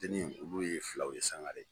Denin olu ye filaw ye Sangare.